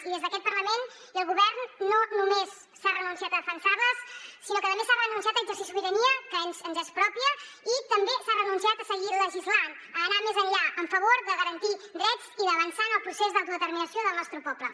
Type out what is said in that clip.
i des d’aquest parlament i el govern no només s’ha renunciat a defensar les sinó que també s’ha renunciat a exercir sobirania que ens és pròpia i també s’ha renunciat a seguir legislant a anar més enllà en favor de garantir drets i d’avançar en el procés d’autodeterminació del nostre poble